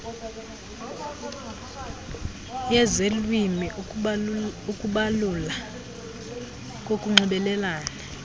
yezelwimi ukubalula kokunxibelelana